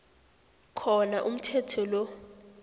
khona umthetho lo